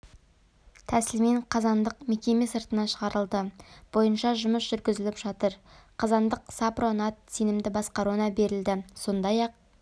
тәсілмен қазандық мекеме сыртына шығарылды бойынша жұмыс жүргізіліп жатыр қазандық сапро-нат сенімді басқаруына берілді сондай-ақ